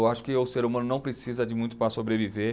Eu acho que o ser humano não precisa de muito para sobreviver.